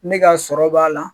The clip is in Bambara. Ne ka sɔrɔ b'a la